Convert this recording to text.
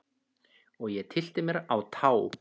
Og ég tyllti mér á tá.